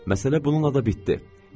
Məsələ bununla da bitdi.